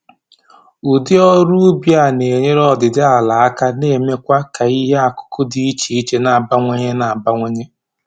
Ụdị ọrụ ubi a na-enyere ọdịdị ala aka na-emekwa k'ihe akụkụ dị iche iche na-abawanye na-abawanye